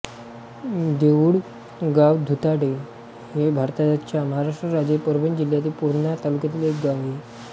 देऊळगावदुधाटे हे भारताच्या महाराष्ट्र राज्यातील परभणी जिल्ह्यातील पूर्णा तालुक्यातील एक गाव आहे